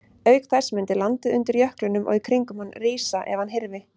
Auk þess mundi landið undir jöklinum og í kringum hann rísa ef hann hyrfi.